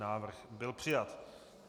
Návrh byl přijat.